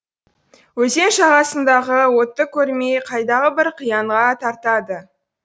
өзен жағасындағы отты көрмей қайдағы бір қиянға тартады